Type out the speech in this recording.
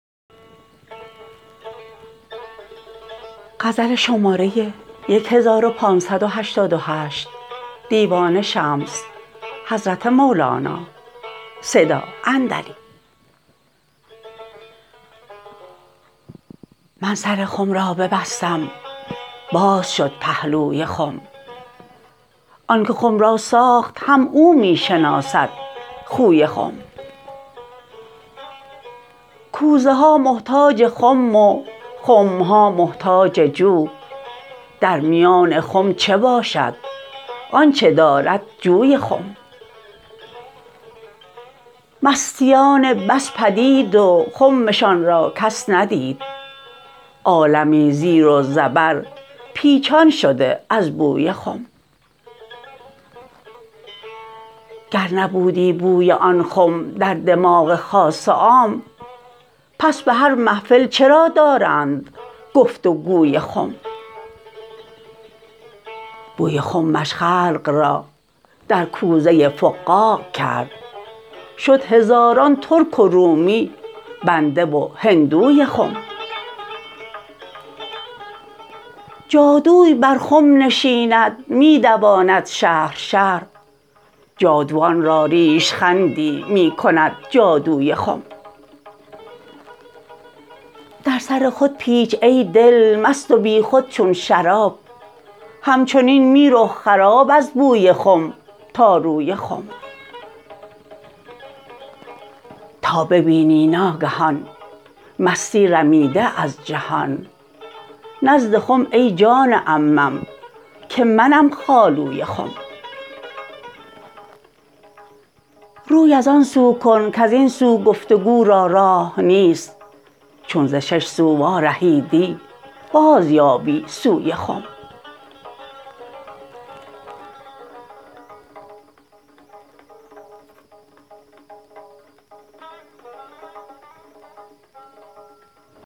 من سر خم را ببستم باز شد پهلوی خم آنک خم را ساخت هم او می شناسد خوی خم کوزه ها محتاج خم و خم ها محتاج جو در میان خم چه باشد آنچ دارد جوی خم مستیان بس پدید و خمشان را کس ندید عالمی زیر و زبر پیچان شده از بوی خم گر نبودی بوی آن خم در دماغ خاص و عام پس به هر محفل چرا دارند گفت و گوی خم بوی خمش خلق را در کوزه فقاع کرد شد هزاران ترک و رومی بنده و هندوی خم جادوی بر خم نشیند می دواند شهر شهر جادوان را ریش خندی می کند جادوی خم در سر خود پیچ ای دل مست و بیخود چون شراب همچنین می رو خراب از بوی خم تا روی خم تا ببینی ناگهان مستی رمیده از جهان نزد خم ای جان عمم که منم خالوی خم روی از آن سو کن کز این سو گفت و گو را راه نیست چون ز شش سو وارهیدی بازیابی سوی خم